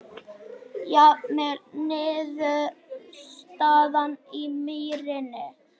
Jafntefli niðurstaðan í Mýrinni